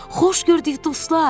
Xoş gördük dostlar!